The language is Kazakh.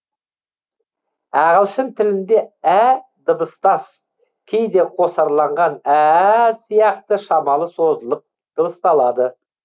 ағылшын тілінде ә дыбыстас кейде қосарланған әә сияқты шамалы созылып дыбысталады